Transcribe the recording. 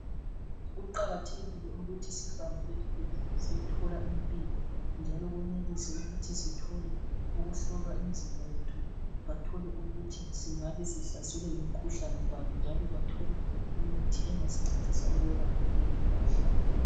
Kuqakathekile ukuthi sihambe ezibhedlela siyethola impilo njalo kwenelise ukuthi sithole ukuhlolwa imizimba yethu bathole ukuthi singabe sihlaselwe yimikhuhlane bani njalo bathole imithi engasincedisa ukwelapha leyi mikhuhlane.